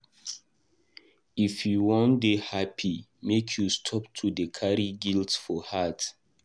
If you wan dey happy make you stop to dey carry guilt for heart.